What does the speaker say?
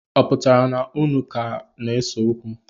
Ọ pụtara na unu ka ga-ese okwu?